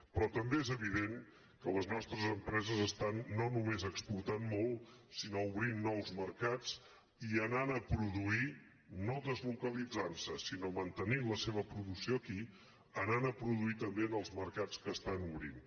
però també és evident que les nostres empreses estan no només exportant molt sinó obrint nous mercats i anant a produir no deslocalitzant se sinó mantenint la seva producció aquí anant a produir també en els mercats que estan obrint